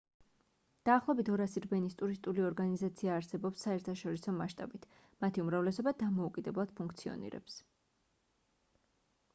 დაახლოებით 200 რბენის ტურისტული ორგანიზაცია არსებობს საერთაშორისო მასშტაბით მათი უმრავლესობა დამოუკიდებლად ფუნქციონირებს